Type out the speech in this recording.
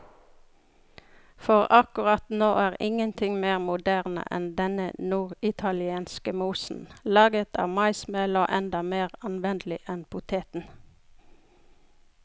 For akkurat nå er ingenting mer moderne enn denne norditalienske mosen, laget av maismel og enda mer anvendelig enn poteten.